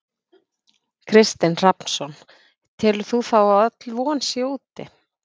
Kristinn Hrafnsson: Telur þú þá öll von sé úti?